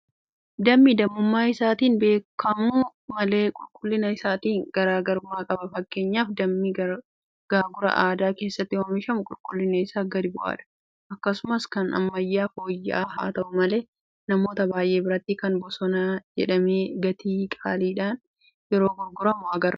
Dammi dammummaa isaatiin haabeekamu malee qulqullina isaatiin garaa garummaa qaba. Fakkeenyaaf dammi gaagura aadaa keessatti oomishamu qulqullinni isaa gadi bu'aadha. Akkasumas kan ammayyaa fooyya'aa haata'u malee; Namoota baay'ee biratti kan bosonaa jedhamee gatii qaaliidhaan yeroo gurguramu agarra. Qulqullinni dammaa akkamitti eegama?